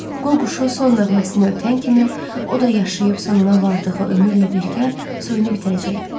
Qu quşu son nəğməsini ötən kimi, o da yaşayıb sonuna vardığı ömürlə birgə soyunu bitirəcəkdi.